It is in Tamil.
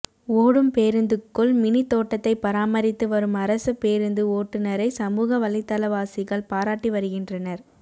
ஓடும் பேருந்துக்குள் மினி தோட்டத்தை பராமரித்து வரும் அரசு பேருந்து ஓட்டுநரை சமூக வலைதளவாசிகள் பாராட்டி வருகின்றனர்